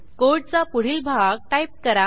कोडचा पुढील भाग टाईप करा